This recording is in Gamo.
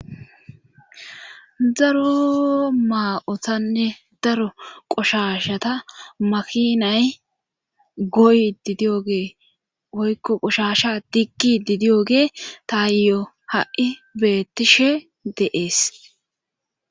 Daro maa'otanne daro qoshashata makinay goy didiyogee woykko qoshasha diggi didiyo gee taayo ha'i beettishe deees